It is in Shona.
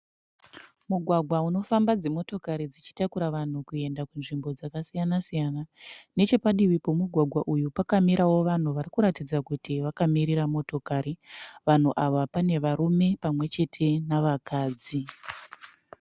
Mugwagwa unofamba dzimotokari dzichitakura vanhu kuenda kunzvimbo dzakasiyana siyana. Nechepadivi pemugwagwa uyu panewo vanhu varikuratidza kuti vakamirira motokari. Vanhu ava pane varume pamwechete nevakadzi.